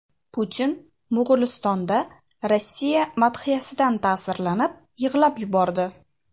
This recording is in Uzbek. Putin Mo‘g‘ulistonda Rossiya madhiyasidan ta’sirlanib, yig‘lab yubordi .